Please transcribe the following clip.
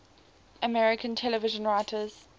american television writers